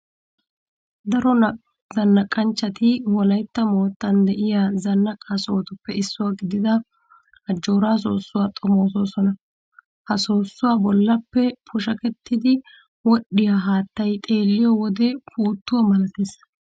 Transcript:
Daro zannaqanchchati wolaytta moottan de'iya zannaqa sohotuppe issuwa gidida ajjooraa soossuwa xomoosona. Ha soossuwan bollappe pushakettiiddi wodhdhiya haattay xeelliyo wode puuttuwa malatees.